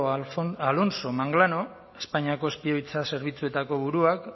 alonso manglano espainiako espioitza zerbitzuetako buruak